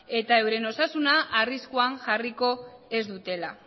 eta euren osasuna arriskuan jarriko ez dutela